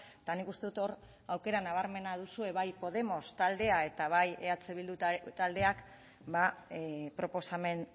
eta nik uste dut hor aukera nabarmena duzue bai podemos taldeak eta bai eh bildu taldeak proposamen